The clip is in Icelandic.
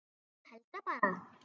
Ég held það bara.